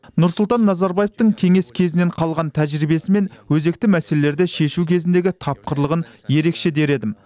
нұрсұлтан назарбаевтың кеңес кезінен қалған тәжірибесі мен өзекті мәселелерді шешу кезіндегі тапқырлығын ерекше дер едім